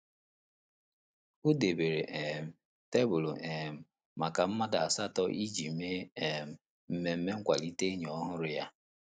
O debere um tebụl um maka mmadụ asatọ iji mee um mmemme nkwalite enyi ọhụrụ ya.